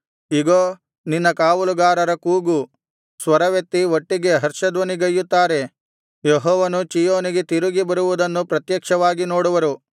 ಇಗೋ ನಿನ್ನ ಕಾವಲುಗಾರರ ಕೂಗು ಸ್ವರವೆತ್ತಿ ಒಟ್ಟಿಗೆ ಹರ್ಷಧ್ವನಿಗೈಯುತ್ತಾರೆ ಯೆಹೋವನು ಚೀಯೋನಿಗೆ ತಿರುಗಿ ಬರುವುದನ್ನು ಪ್ರತ್ಯಕ್ಷವಾಗಿ ನೋಡುವರು